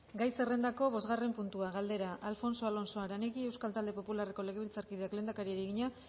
gai zerrendako bostgarren puntua galdera alfonso alonso aranegui euskal talde popularreko legebiltzarkideak lehendakariari egina